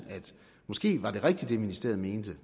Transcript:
måske var det ministeriet mente